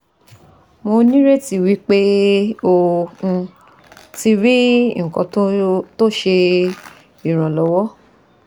Mo nireti wi pe o um ti ri nkan to se iranlowo